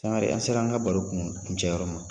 Sangare an sera an ka baro kun kuncɛ yɔrɔ ma.